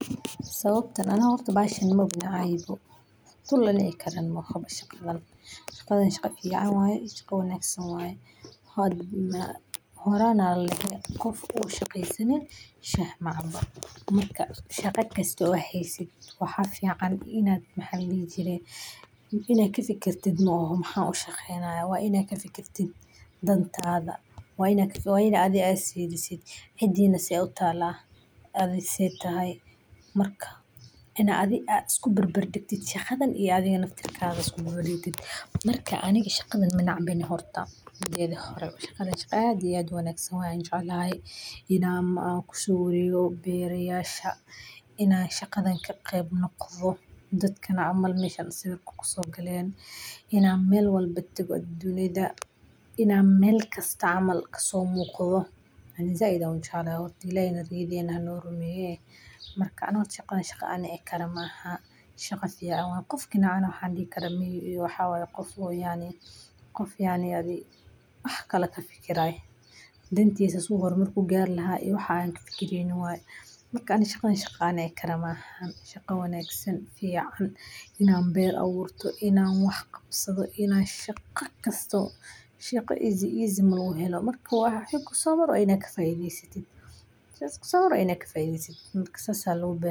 Sabta, aniga horta maba ilawi karo howshan, Si sawirkaasi u noqdo mid qurux badan, waxaa muhiim ah in la helo iftiin dabiici ah oo wanaagsan, gaar ahaan qorrax soo bixitaanka ama qorrax dhacaya, waayo markaas iftiinka cadceedu wuu jilicsan yahay oo wuxuu siinayaa sawirka midab diiran iyo muuqaal degan. Qofka xidhan sidiisa quruxda badan ayaa lagu habeyn karaa inuu istaago meel beer furan ah, halkaas oo cagaarka beeraha ama ubaxa midabada badan leh uu asalka ka dhigo. Sidaha laftiisa, haddii uu yahay mid leh midab farxad leh sida cad, buluug, casaanka fudud, ama jaalle khafiif ah, wuxuu la jaan qaadayaa midabada dhirta iyo ubaxa, taasoo sawirka siinaysa nolol iyo muuqaal soo jiidasho leh. Shaqa kasta oo hesha si easy easy laguma helo marku wax yar kusomaro waa inaad kafaidey satid, janiska kuso maraa waa inaa kafaideysatid sas aya lagu garaa.